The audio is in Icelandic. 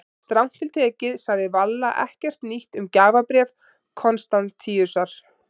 Strangt til tekið sagði Valla ekkert nýtt um gjafabréf Konstantínusar.